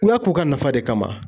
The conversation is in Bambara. U y'a k'o ka nafa de kama .